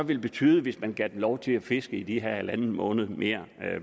ville betyde hvis man gav dem lov til at fiske i de her halvanden måned mere